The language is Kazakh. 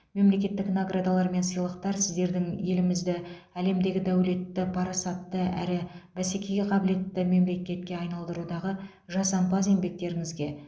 мемлекеттік наградалар мен сыйлықтар сіздердің елімізді әлемдегі дәулетті парасатты әрі бәсекеге қабілетті мемлекетке айналдырудағы жасампаз еңбектеріңізге